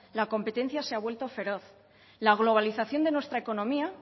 la competencia se ha vuelto feroz la globalización de nuestra economía